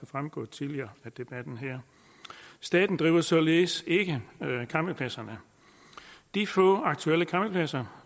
fremgået tidligere af debatten her staten driver således ikke campingpladserne de få aktuelle campingpladser